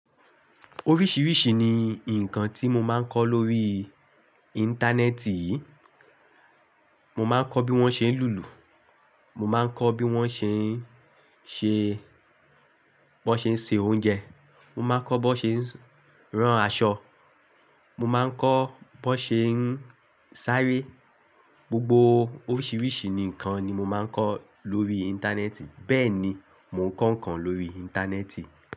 Oríṣìíríṣìí ni ǹkan tí mo máa ń kọ́ lórí Íńtánẹ́ẹ̀tì. Mo máa ń kọ́ bí wọ́n ṣe ń lùlù, mo máa ń kọ́ bí wọ́n ṣe ń ṣe, bí wọ́n ṣe ń se oúnjẹ, mo máa ń kọ́ bí wọ́n ṣe ń rán aṣọ, mo máa ń kọ́ bí wọ́n ṣe ń sáré. Gbogbo oríṣìíríṣìí nǹkan ni mo máa ń kọ́ lórí Íńtánẹ́ẹ̀tì. Bẹ́ẹ̀ni, mo ń kọ́ ǹkan lórí Íńtánẹ́ẹ̀tì.